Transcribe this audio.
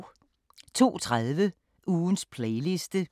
02:30: Ugens playliste